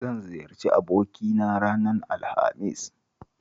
Zan ziyarci abokina ranar Alhamis